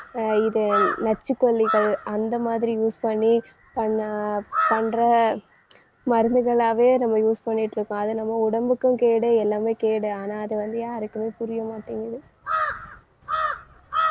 அஹ் இது நச்சுக்கொல்லிகள் அந்த மாதிரி use பண்ணி பண்ண பண்ற மருந்துகளாவே நம்ம use பண்ணிட்டிருக்கோம். அது நம்ம உடம்புக்கும் கேடு எல்லாமே கேடு. ஆனா வந்து யாருக்குமே புரியமாட்டேங்குது.